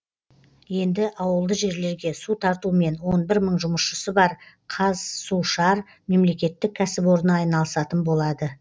енді ауылды жерлерге су тартумен он бір мың жұмысшысы бар қазсушар мемлекеттік кәсіпорны айналысатын болады